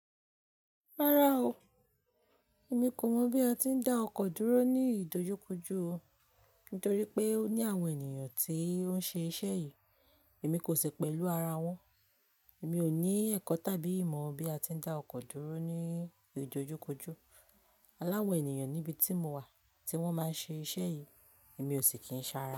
Rárá o, èmi kò mọ̀ bí a ti ń dá ọkọ̀ dúró ní ìdojúkojú o, nítorí pé ó ní àwọn ènìyàn tí ó ń ṣe iṣẹ́ yìí, èmi kò sì pẹ̀lú ara wọn. Mi ò ní ẹ̀kọ́ tàbí ìmọ̀ bí a ti ń dá ọkọ̀ dúró ní ìdojúkojú. Aláwọn ènìyàn níbi tí mo wà tí wọ́n máa ń ṣe iṣẹ́ yìí, èmi ò sì kí ń ṣa ra.